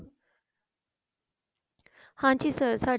ਹਾਂਜੀ sir ਸਾਡੇ